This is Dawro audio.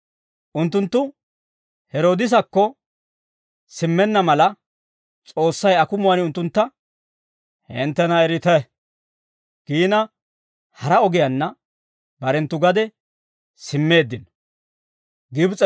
Unttunttu Heroodisakko simmenna mala, S'oossay akumuwaan unttuntta, «Hinttena erite» giina hara ogiyaanna barenttu gade simmeeddino.